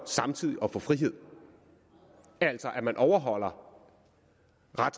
samtidig at få frihed altså at man overholder